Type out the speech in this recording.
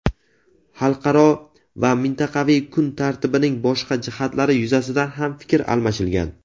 Xalqaro va mintaqaviy kun tartibining boshqa jihatlari yuzasidan ham fikr almashilgan.